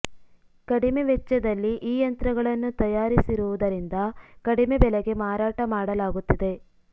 ಕಡಿಮೆ ವೆಚ್ಚದಲ್ಲಿ ಈ ಯಂತ್ರಗಳನ್ನು ತಯಾರಿಸಿರುವುದರಿಂದ ಕಡಿಮೆ ಬೆಲೆಗೆ ಮಾರಾಟ ಮಾಡಲಾಗುತ್ತಿದೆ